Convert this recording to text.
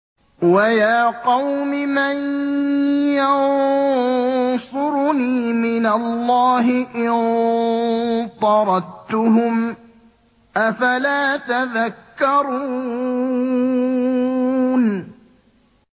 وَيَا قَوْمِ مَن يَنصُرُنِي مِنَ اللَّهِ إِن طَرَدتُّهُمْ ۚ أَفَلَا تَذَكَّرُونَ